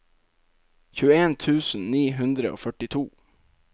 tjueen tusen ni hundre og førtito